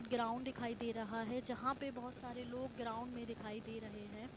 Ground दिखाई दे रहा है जहां पे बहुत सारे लोग ग्राउंड में दिखाई दे रहा है।